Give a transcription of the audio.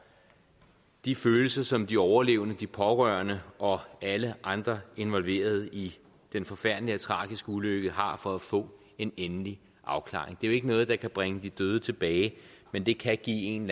de følelser som de overlevende de pårørende og alle andre involverede i den forfærdelige og tragiske ulykke har for at få en endelig afklaring det er jo ikke noget der kan bringe de døde tilbage men det kan give en